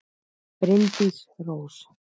Bryndís Rós.